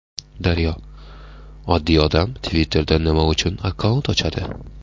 Daryo: Oddiy odam Twitter’da nima uchun akkaunt ochadi?